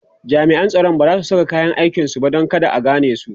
jami'an tsaron bazasu sa kayan aikin su ba Dan kada a ganesu